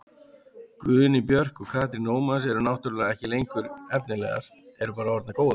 Guðný Björk og Katrín Ómars eru náttúrulega ekki lengur efnilegar, eru bara orðnar góðar.